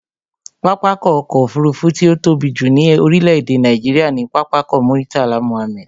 Pápákọ̀ ọ̀kọ òfurufú tí ó tóbi jù ní orílé èdè Nàìjíría ni Pápákọ̀ Murtala Mohammed